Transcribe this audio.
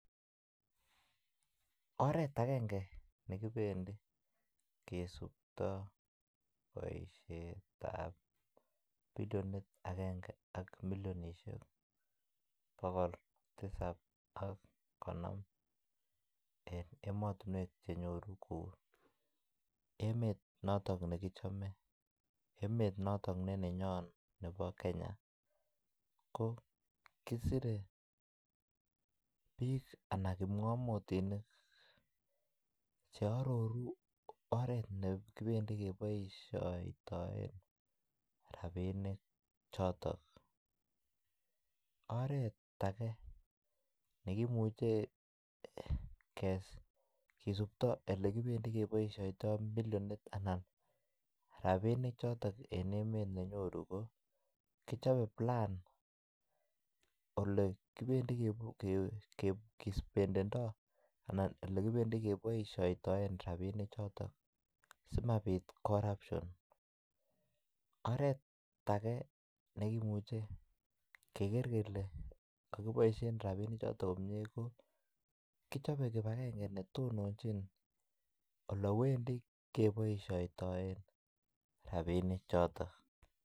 Oret ne kibendi kisiptoi boisiet ab bilionit agenge ak milionisiek bogol tisap ak konom en emotinwek Che nyoru kou emet noton nekichome emet noton ne nenyon nebo Kenya ko kisirei bik Anan kipngamotinik Che aroru oret ne kibendi keboisien rabinik choton oret age ne kimuche kisuptoi Ole kibendi keboisiotoi bilionit anan rabinik chotok en emet ne nyoru ko kichobe plan Ole kibendi keboisiotoi rabinik choton asi mabit corruption oret age nekimuche keger kele kakiboisien rabinichato komie ko kichobe kibagenge ne tononjin Ole wendi keboisiotoi rabinichato